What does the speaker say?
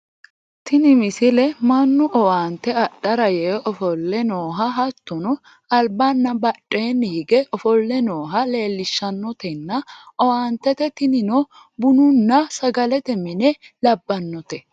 tini misile mannu owaante adhara yee ofolle nooha hattono albaanna badheenni hige ofolle nooha leelishshannotenna owaante tinino bununna sagalete mine labbannote